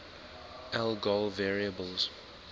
algol variables